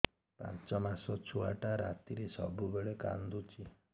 ପାଞ୍ଚ ମାସ ଛୁଆଟା ରାତିରେ ସବୁବେଳେ କାନ୍ଦୁଚି